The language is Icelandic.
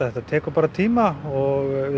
þetta tekur bara tíma og